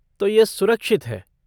तो यह सुरक्षित है।